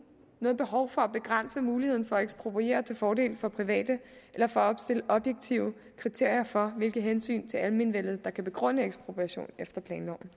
noget behov for at begrænse muligheden for at ekspropriere til fordel for private eller for at opstille objektive kriterier for hvilke hensyn til almenvellet der kan begrunde ekspropriation efter planloven